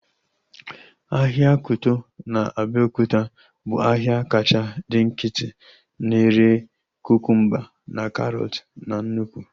Ahịa Kuto na Abiokuta bụ ahịa kacha dị nkịtị na-ere kukumba na karọt na nnụkwụ